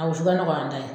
A wusuba nɔgɔya ye